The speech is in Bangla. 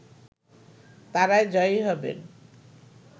তারাই জয়ী হবেন